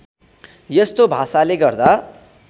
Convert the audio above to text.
यस्तो भाषाले गर्दा